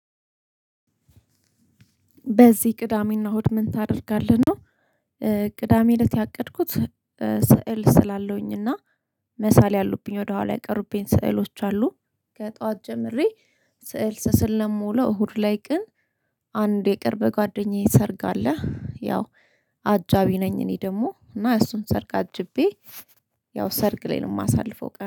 በዚህ ቅዳሜና እሁድ ምን ታደርጋለህ ነው? ቅዳሜ እለት ያቀድኩት ስዕል ስላለሁኝ እና መሳል ያሉብኝ ወደኋላ የቀሩብኝ ስዕሎች አሉ። ከጧት ጀምሬ ስዕል ስስል የምውለው እሁድ ላይ ግን። አንድ የቅርብ ጓደኛዬ ሰርግ አለ ያው አጃቢ ነኝ እኔ ደግሞ እና እሱን ሰርግ አጅቤ። ያው ሰርግ ላይ ነው የማሳልፈው ቀን